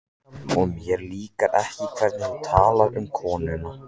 Og mér líkar ekki hvernig þú talar um konuna mína